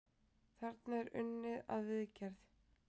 Þarna er unnið að viðgerð.